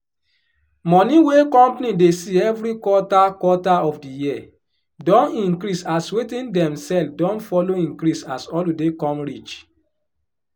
money wey company dey see every quarter quarter of di year don increase as wetin dem sell don follow increase as holiday come reach